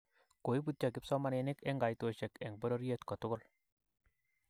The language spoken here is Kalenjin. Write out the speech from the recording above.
Koiputyo kipsomaninik eng Koitoshek eng bororyet kotugul